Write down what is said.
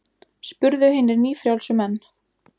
spurðu hinir nýfrjálsu menn.